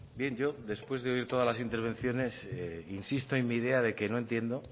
bien yo después de oír todas las intervenciones insisto en mi idea de que no entiendo